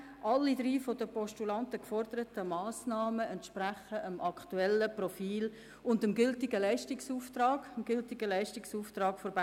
Alle drei von den Postulanten geforderten Massnahmen entsprechen dem aktuellen Profil und dem gültigen Leistungsauftrag der BFH.